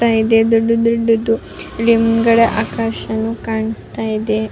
ದೊಡ್ಡ ದೊಡ್ಡದು ಹಿಂದ್ಗಡೆ ಆಕಾಶ ಕಾಣ್ಸ್ತಾ ಇದೆ.